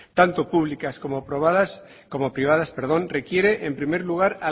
tanto públicas como privadas requiere en primer lugar